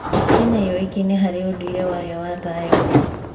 Kenya yoĩkaine harĩ ũndũire wayo wa thayũ